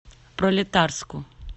пролетарску